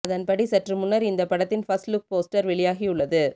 அதன்படி சற்று முன்னர் இந்த படத்தின் பர்ஸ்ட் லுக் போஸ்டர் வெளியாகியுள்ளது